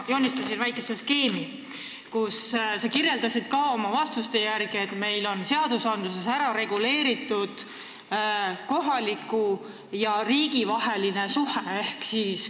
Ma joonistasin väikese skeemi, kui sa kirjeldasid vastuseid andes, kuidas meil on seadustes reguleeritud kohalike omavalitsuste ja riigi vahelised suhted.